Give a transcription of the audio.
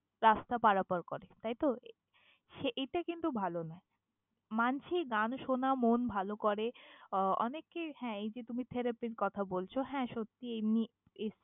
রাস্তা পারাপার করে, তাইতো? সে এইটা কিন্তু ভালো নয়। মানছি, গান শোনা মন ভালো করে আহ অনেককেই হ্যাঁ এই যে তুমি therapy র কথা বলছ, হ্যাঁ সত্যিই এমনি।